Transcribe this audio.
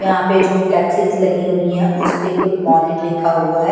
यहां पे जो फ्लेक्सेस लगी हुई है उस पे गुड मॉर्निंग लिखा हुआ है।